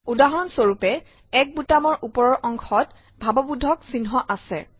উদাহৰণ স্বৰূপে 1 বুটামৰ ওপৰৰ অংশত ভাৱবোধক চিহ্ন আছে